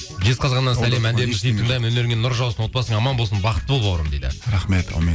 жезқазғаннан сәлем өнеріңе нұр жаусын отбасың аман болсын бақытты бол бауырым дейді рахмет әумин